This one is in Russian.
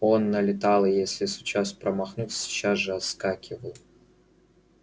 он налетал и если случалось промахнуться сейчас же отскакивает